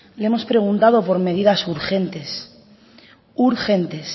le hemos preguntado por medidas urgentes urgentes